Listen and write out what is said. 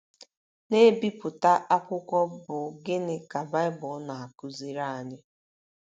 na - ebipụta akwụkwọ bụ́ Gịnị Ka Baịbụl Na - akụziri Anyị?